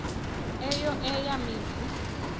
eyo eya mizi